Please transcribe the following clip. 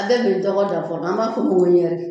An bɛ min tɔgɔ fɔ an b'a fɔ